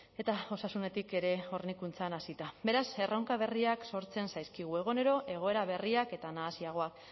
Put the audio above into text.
eta osasunetik ere hornikuntzan hasita beraz erronka berriak sortzen zaizkigu egunero egoera berriak eta nahasiagoak